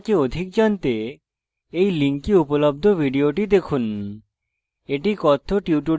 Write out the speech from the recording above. spoken tutorial প্রকল্প সম্পর্কে অধিক জানতে এই link উপলব্ধ video দেখুন